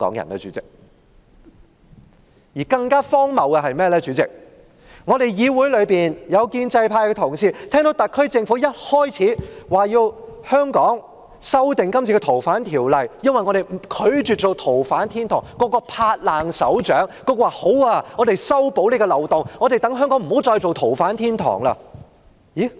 代理主席，更荒謬的是，議會內有建制派同事聽到特區政府表示要修訂《條例》，避免香港成為逃犯天堂時，均拍手稱好，說修補漏洞後讓香港不再是逃犯天堂。